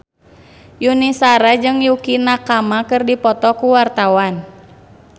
Yuni Shara jeung Yukie Nakama keur dipoto ku wartawan